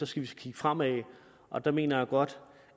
skal vi kigge fremad og der mener jeg godt